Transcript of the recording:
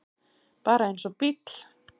Bara eins og bíll.